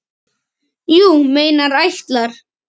Þú meinar ætlar.